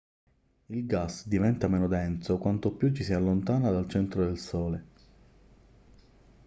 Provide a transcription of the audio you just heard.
il gas diventa meno denso quanto più ci si allontana dal centro del sole